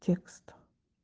текст